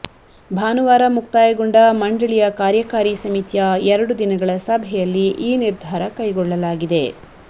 ಭಾನುವಾರ ಮುಕ್ತಾಯಗೊಂಡ ಮಂಡಳಿಯ ಕಾರ್ಯಕಾರಿ ಸಮಿತಿಯ ಎರಡು ದಿನಗಳ ಸಭೆಯಲ್ಲಿ ಈ ನಿರ್ಧಾರ ಕೈಗೊಳ್ಳಲಾಗಿದೆ